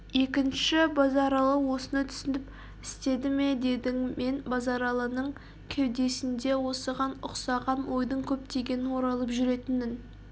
екінші базаралы осыны түсініп істеді ме дедің мен базаралының кеудесінде осыған ұқсаған ойдың көптен оралып жүретінін